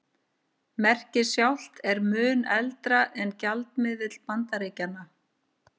Merkið sjálft er mun eldra en gjaldmiðill Bandaríkjanna.